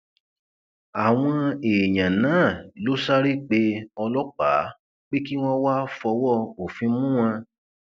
àwọn èèyàn náà ló sáré pé ọlọpàá pé kí wọn wáá fọwọ òfin mú wọn